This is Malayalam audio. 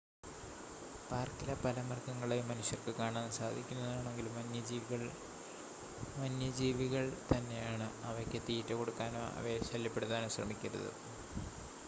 പാർക്കിലെ പല മൃഗങ്ങളെയും മനുഷ്യർക്ക് കാണാൻ സാധിക്കുന്നതാണെങ്കിലും വന്യജീവികൾ വന്യജീവികൾ തന്നെയാണ് അവയ്ക്ക് തീറ്റ കൊടുക്കാനോ അവയെ ശല്യപ്പെടുത്താനോ ശ്രമിക്കരുത്